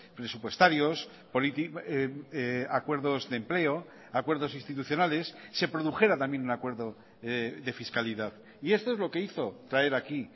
presupuestarios acuerdos de empleo acuerdos institucionales se produjera también un acuerdo de fiscalidad y esto es lo que hizo traer aquí